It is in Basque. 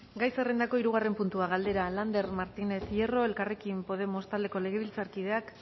gai zerrendako hirugarren puntua galdera lander martínez hierro elkarrekin podemos taldeko legebiltzarkideak